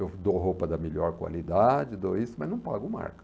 Eu dou roupa da melhor qualidade, dou isso, mas não pago marca.